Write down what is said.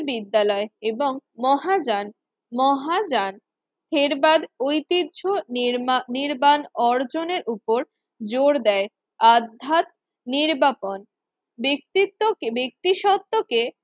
বিদ্যালয় এবং মহাযান মহাযান থেরবাদ ঐতিহ্য মির্না নির্বাণ অর্জনের উপর জোর দেয়। আধ্যাত নির্বান ব্যক্তিত্বকে ব্যক্তি সত্ত্বকে